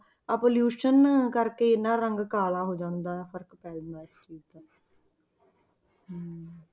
ਆਹ pollution ਕਰਕੇ ਇੰਨਾ ਰੰਗ ਕਾਲਾ ਹੋ ਜਾਂਦਾ ਹੈ, ਫ਼ਰਕ ਪੈ ਜਾਂਦਾ ਹੈ ਇਸ ਚੀਜ਼ ਦਾ ਹਮ